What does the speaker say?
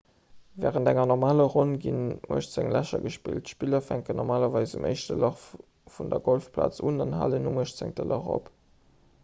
wärend enger normaler ronn ginn uechtzéng lächer gespillt d'spiller fänken normalerweis um éischte lach vun der golfplaz un an halen um uechtzéngte lach op